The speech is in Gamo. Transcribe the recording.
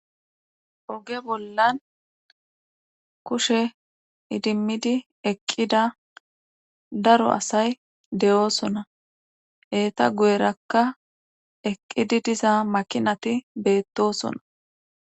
Woge bollan kushe idimmidi eqqida daro asay de7oosona heeta gu7erakka eqqidi diza makinati beettosona.